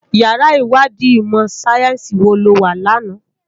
Iyàrá Iwàdí imò sáyènsí wó lò wá làná?